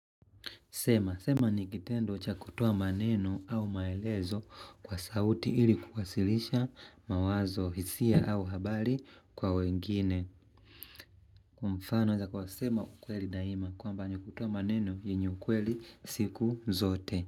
Sema, sema ni kitendo cha kutoa maneno au maelezo kwa sauti ili kukasilisha mawazo hisia au habari kwa wengine. Kwa mfano inaeza kuwa sema ukweli daima kwamba ni kutoa maneno yenye ukweli siku zote.